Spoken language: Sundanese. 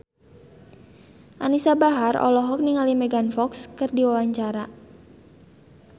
Anisa Bahar olohok ningali Megan Fox keur diwawancara